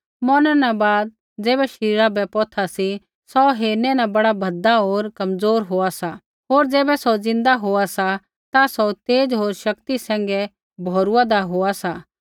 मौरनै न बाद ज़ैबै शरीरा बै पौथा सी सौ हेरनै न बड़ा भद्दा होर कमज़ोर होआ सा होर ज़ैबै सौ ज़िन्दा होआ सा ता सौ तेज़ होर शक्ति सैंघै भौरुआन्दा होआ सा